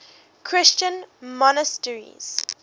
christian monasteries